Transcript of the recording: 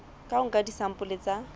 ka ho nka disampole tsa